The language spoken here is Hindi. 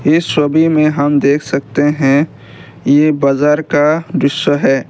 इस छवि में हम देख सकते हैं ये बाजार का दृश्य है।